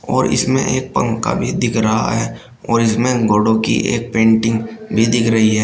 और इसमें एक पंखा भी दिख रहा है और इसमें घोडो की एक पेंटिंग भी दिख रही है।